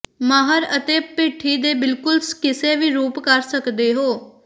ਮਾਹਰ ਅਤੇਭਿੱਠੀ ਦੇ ਬਿਲਕੁਲ ਕਿਸੇ ਵੀ ਰੂਪ ਕਰ ਸਕਦੇ ਹੋ